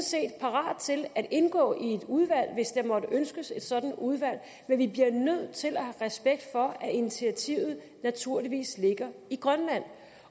set parate til at indgå i et udvalg hvis der måtte ønskes et sådant udvalg men vi bliver nødt til at have respekt for at initiativet naturligvis ligger i grønland